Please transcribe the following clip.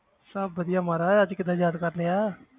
ਸਭ ਵਧੀਆ ਮਹਾਰਾਜ ਅੱਜ ਕਿੱਦਾਂ ਯਾਦ ਕਰ ਲਿਆ